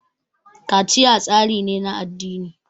kaciya tsari ne na addini